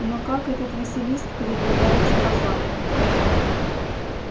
но как этот василиск передвигается по замку